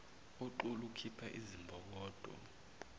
uxulu ukhipha izimbokodo